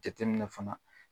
Jateminɛ fana